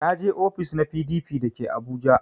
Na je ofis na PDP da ke abuja